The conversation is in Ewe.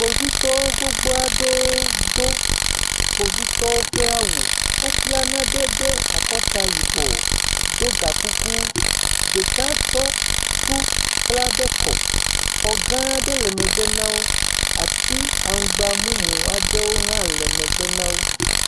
Kpovitɔwo gbogbo aɖewo do kpovitɔwo ƒe awu, wobla nane ɖe akɔta yibɔ do ga kuku. Ɖeka tsɔ tu kpla ɖe kɔ, xɔ ga aɖe le megbe na wo, ati aŋgb mumu aɖe hã le megbe na wo.